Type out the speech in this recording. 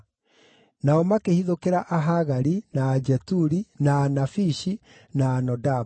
Nao makĩhithũkĩra Ahagari, na Ajeturi, na Anafishi, na Anodabu.